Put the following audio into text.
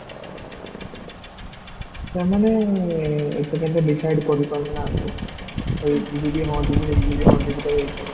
ସେମାନେ ଏପନ୍ତ decide କରି ପାରୁ ନାହାନ୍ତି, ହେଇ ଯିବି ହଁ ଯିବି ହେଇ ଯିବି ହଁ ଯିବି କାହିକି